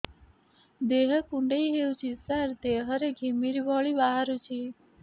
ଦେହ କୁଣ୍ଡେଇ ହେଉଛି ସାରା ଦେହ ରେ ଘିମିରି ଭଳି ବାହାରୁଛି